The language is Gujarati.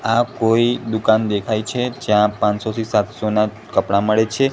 આ કોઈ દુકાન દેખાય છે જ્યાં પાંચસો થી સાતસો ના કપડા મળે છે.